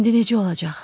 İndi necə olacaq?